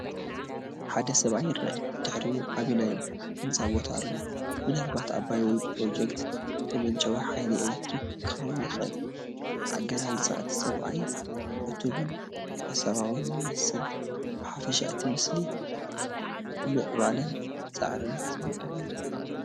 ሓደ ሰብኣይ ይርአ፣ ብድሕሪኡ ዓቢ ናይ ህንጻ ቦታ ኣሎ፡ ምናልባት ኣባይ ወይ ፕሮጀክት መመንጨዊ ሓይሊ ኤሌክትሪክ ክኸውን ይኽእል። ኣገላልጻ እቲ ሰብኣይ ዕቱብን ሓሳባውን ይመስል። ብሓፈሻ እቲ ምስሊ ናይ ምዕባለን ጻዕርን ስምዒት ኣለዎ።